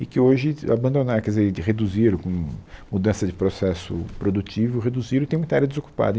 E que hoje abandonaram, quer dizer, reduziram, com mudança de processo produtivo, reduziram e tem muita área desocupada.